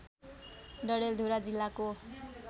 डडेलधुरा जिल्लाको